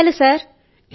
ధన్యవాదాలు సర్